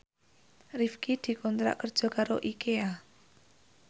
Rifqi dikontrak kerja karo Ikea